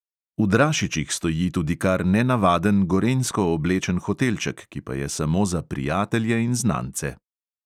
V drašičih stoji tudi kar nenavaden gorenjsko oblečen hotelček, ki pa je samo za prijatelje in znance.